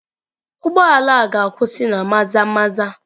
Ụgbọ ala a ga-akwụsị na Maza-maza?